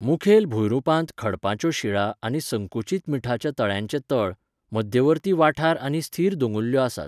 मुखेल भूंयरूपांत खडपांच्यो शिळा आनी संकुचीत मीठाच्या तळ्यांचे तळ, मध्यवर्ती वाठार आनी स्थिर दोंगुल्ल्यो आसात.